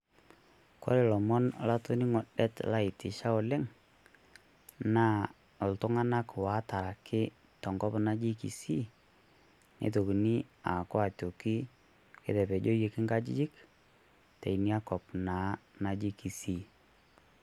Kore ilomon latoning'o det laitisha oleng naa iltung'ana otaraki tenkop naji Kisii, neitokini aaku aitoki ketapejoyioki inkajijik teina kop naa naji Kisii.